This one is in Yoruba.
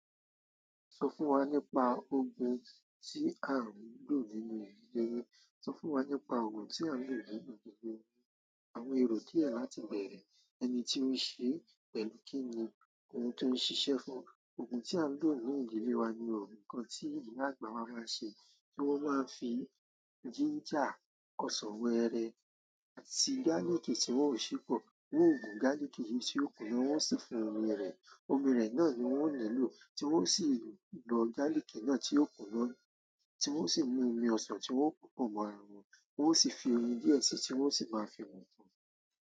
Sọ fún wa nípa ohùn ti a ń ko nínú ilé. Sọ fún wa nípa ògùn tí à ń lò nínú ìdílé wa. Àwọn èrò díẹ̀ láti bẹ̀rẹ̀, ẹni tí ó ṣe, pẹ̀lú kí ni òun tó ń ṣiṣẹ́ fún. Ògùn tí à ń lò nínú ìdílé wa ni ògùn kan tí ìyá àgbà wa máa ń ṣe, tí wọ́n máa ń fi jínjà, ọsàn wẹ́ẹ́rẹ́, àti gálíkì tí wọ́n ò sepi. Wọn o gùn gálíkì yìí tí ó kùnnà, wọ́n sì fún omi rẹ̀. Omi rẹ̀ náà ni wọ́n ó nílò, tí wọ́n ó sì lò gálíkì náà tí ó kùnnáà, tí wọ́n ó sì mú omi ọsàn tí wọ́n o popọ̀ mọ́ ara wọn, wọ́n ó sì fi oyin díẹ̀ síi, tí wọ́n ó sì máa fi mu nkan.